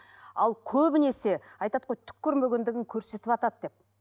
ал көбінесе айтады ғой түк көрмегендігін көрсетіватады деп